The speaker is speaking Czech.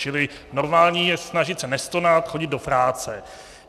Čili normální je snažit se nestonat, chodit do práce.